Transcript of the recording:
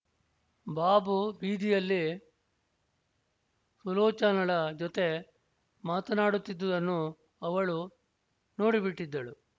ಬಾಬು ಬೀದಿಯಲ್ಲಿ ಸುಲೋಚನಳ ಜೊತೆ ಮಾತನಾಡುತ್ತಿದ್ದುದನ್ನು ಅವಳು ನೋಡಿಬಿಟ್ಟಿದ್ದಳು